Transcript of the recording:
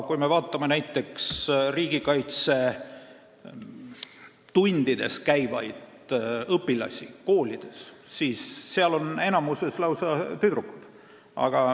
Kui me vaatame näiteks koolides riigikaitsetundides käivaid õpilasi, siis seal on enamjaolt lausa tüdrukud.